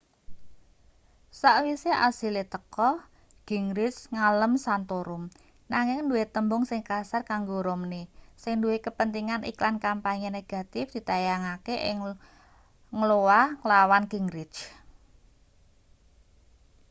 sawise asile teka gingrich ngalem santorum nanging duwe tembung sing kasar kanggo romney sing duwe kepentingan iklan kampanye negatif ditayangake ing iowa nglawan gingrich